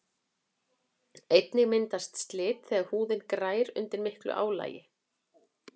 einnig myndast slit þegar húðin grær undir miklu álagi